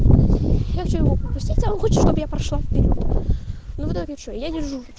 я прошла